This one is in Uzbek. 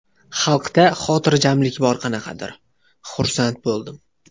Xalqda xotirjamlik bor qanaqadir, xursand bo‘ldim.